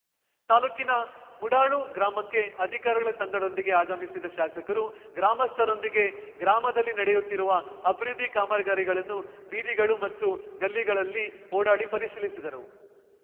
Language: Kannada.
ತಾಲ್ಲೂಕಿನ ಮುಡಾಳು ಗ್ರಾಮಕ್ಕೆ ಅಧಿಕಾರಿಗಳ ತಂಡದೊಂದಿಗೆ ಆಗಮಿಸಿದ ಶಾಸಕರು ಗ್ರಾಮಸ್ಥರೊಂದಿಗೆ ಗ್ರಾಮದಲ್ಲಿ ನಡೆಯುತ್ತಿರುವ ಅಭಿವೃದ್ಧಿ ಕಾಮಗಾರಿಗಳನ್ನು ಬೀದಿಗಳು ಮತ್ತು ಗಲ್ಲಿಗಳಲ್ಲಿ ಓಡಾಡಿ ಪರಿಶೀಲಿಸಿದರು